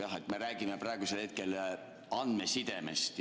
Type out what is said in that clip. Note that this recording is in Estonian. Jah, me räägime praegusel hetkel andmesidest.